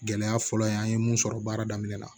Gɛlɛya fɔlɔ in an ye mun sɔrɔ baara daminɛ la